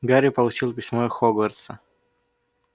гарри получил письмо из хогвартса